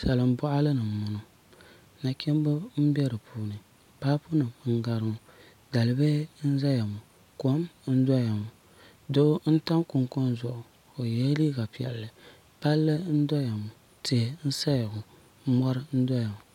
salin boɣali ni n boŋo nachimbi n bɛ di puuni paapu nim n gari ŋo dalibihi n ʒɛya ŋo kom n doya ŋo doo n tam kunkun zuɣu o yɛla liiga piɛlli palli n doya ŋo tihi n ʒɛya ŋo mori n saya ŋo